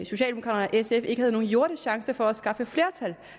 socialdemokraterne og sf ikke havde nogen jordisk chance for at skaffe et flertal